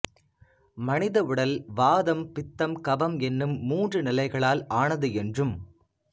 மனித உடல் வாதம் பித்தம் கபம் என்னும் மூன்று நிலைகளால் ஆனது என்றும்